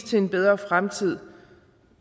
til en bedre fremtid